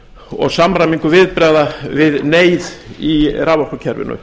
og samræmingu viðbragða við neyð í raforkukerfinu